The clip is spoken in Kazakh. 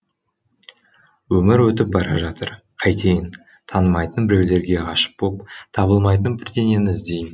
өмір өтіп бара жатыр қайтейін танымайтын біреулерге ғашық боп табылмайтын бірдеңені іздейм